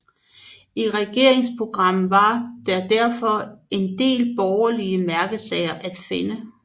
I regeringsprogrammet var der derfor en del borgerlige mærkesager at finde